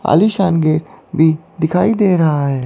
आलीशान गेट भी दिखाई दे रहा है।